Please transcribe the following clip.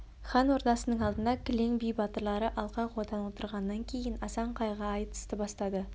хан ордасының алдына кілең би батырлар алқа-қотан отырғаннан кейін асан қайғы айтысты бастады